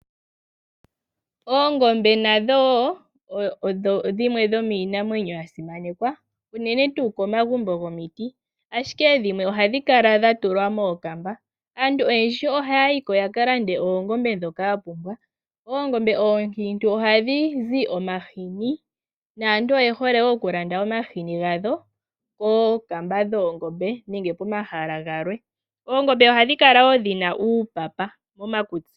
Oongombe nadho wo odho dhimwe dhomiinamwenyo yasimanekwa unene tuu momagumbo gomiti, ashike dhimwe ohadhi kala dhatulwa mookamba. Aantu oyendji ohaya yi yakalande oongombe dhoka yapumbwa. Oongombe oonkintu ohadhi zi omahini, naantu oye hole oku landa omahini gadho kookamba dhoongombe nenge komahala galwe. Oongombe ohadhi kala wo dhina uupapa momakutsi.